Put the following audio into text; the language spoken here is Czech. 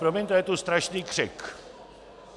Promiňte, ale je tu strašný křik.